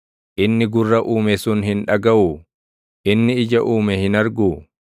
Inni gurra uume sun hin dhagaʼuu? Inni ija uume hin argu?